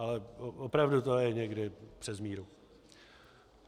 Ale opravdu to je někdy přes míru.